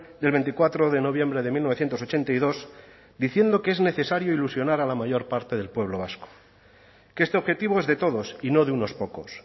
del veinticuatro de noviembre de mil novecientos ochenta y dos diciendo que es necesario ilusionar a la mayor parte del pueblo vasco que este objetivo es de todos y no de unos pocos